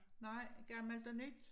Nej gammelt og nyt?